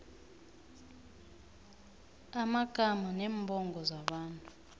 amagama neembongo zabantu